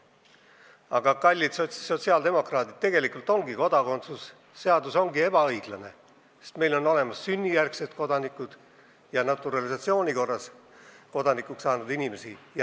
Aga kallid sotsiaaldemokraadid, kodakondsuse seadus ongi tegelikult ebaõiglane, sest meil on olemas sünnijärgsed kodanikud ja naturalisatsiooni korras kodanikuks saanud inimesed.